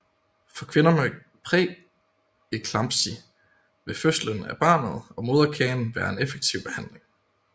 For kvinder med præeklampsi vil fødslen af barnet og moderkagen være en effektiv behandling